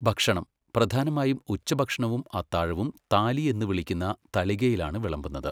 ഭക്ഷണം, പ്രധാനമായും ഉച്ചഭക്ഷണവും അത്താഴവും താലി എന്ന് വിളിക്കുന്ന തളികയിലാണ് വിളമ്പുന്നത്.